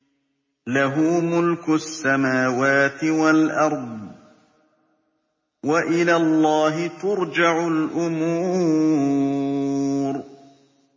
لَّهُ مُلْكُ السَّمَاوَاتِ وَالْأَرْضِ ۚ وَإِلَى اللَّهِ تُرْجَعُ الْأُمُورُ